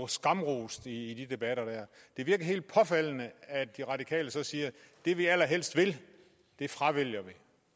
skamrost i de der debatter det virker helt påfaldende at de radikale så siger det vi allerhelst vil fravælger